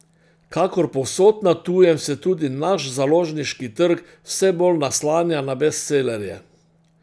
Kakor povsod na tujem se tudi naš založniški trg vse bolj naslanja na bestsellerje.